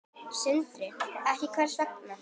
Sindri: Ekki, hvers vegna?